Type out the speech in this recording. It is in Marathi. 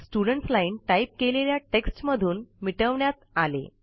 स्टुडेंट्स लाईन टाईप केलेला टेक्स्ट मधून मिटवण्यात आला आहे